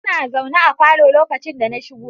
Sun zaune a falo lokacin da na shigo